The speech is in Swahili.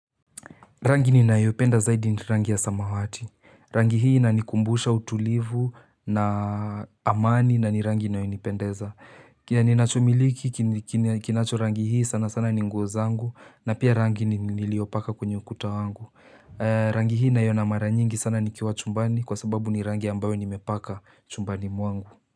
Rangi ninayopenda zaidi ni rangi ya samawati. Rangi hii inanikumbusha utulivu na amani na ni rangi inayonipendeza. Kile ninachomiliki kinacho rangi hii sana sana ni nguo zangu na pia rangi niliopaka kwenye ukuta wangu. Rangi hii naiona mara nyingi sana nikiwa chumbani kwa sababu ni rangi ambayo nimepaka chumbani mwangu.